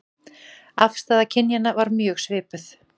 Afstaða kynjanna var mjög svipuð